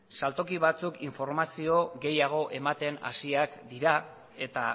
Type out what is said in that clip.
saltoki batzuek informazio gehiago ematen hasiak dira eta